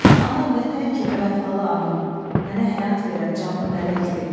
Ana vətən kimi vəfalı anam, mənə həyat verən canlı mələkdir.